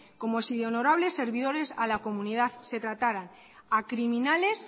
como si de honorables servidores a la comunidad se tratara a criminales